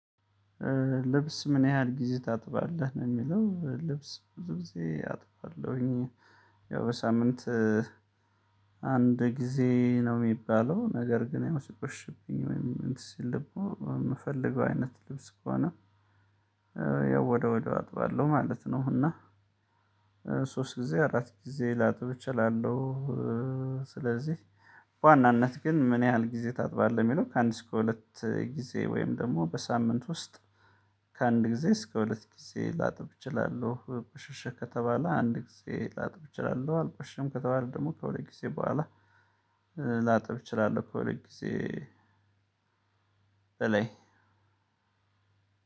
"ልብስ ምን ያህል ጊዜ ታጥባለህ?" ነው የሚለው። ልብስ ብዙ ጊዜ አጥባለሁኝ። ያው ሳምንት አንድ ጊዜ ነው የሚባለው ነገር ግን ያው ሲቆሽሽብኝ ወይም እንትን ሲል ደግሞ የምፈልገው አይነት ልብስ ከሆነ ያው ወዲያው ወዲያው አጥባለሁ ማለት ነው፤ እና ሶስት ጊዜ አራት ጊዜ ላጥብ እችላለሁ። ስለዚህ በዋናነት ግን ምን ያህል ጊዜ ታጥባለህ የሚለው ከአንድ እስከ ሁለት ጊዜ ወይም ደግሞ በሳምንት ውስጥ ከአንድ ጊዜ እስከ ሁለት ጊዜ ላጥብ እችላለሁ ቆሸሸር ከተባለ አንድ ጊዜ ላጥብ እችላለሁ፤ አልቆሸሸም ከተባለ ደግሞ ከሁለት ጊዜ በኋላ ላጥብ እችላለሁ ከሁለት ጊዜ በላይ።